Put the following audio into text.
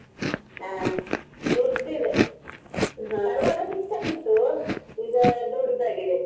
ಹಾ ದೊಡ್ದು ಇದೆ, ಚಿಕ್ಕದು ಇತ್ತು ಈಗ ದೊಡ್ದಾಗಿದೆ.